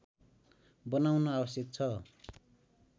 बनाउन आवश्यक छ